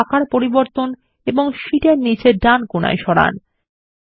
chart এর আকার পরিবর্তন এবং শীট এর নীচে ডান কোণায় সরান